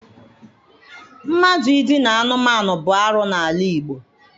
Mmadụ Idina anụmanụ bụ arụ n'ala Igbo.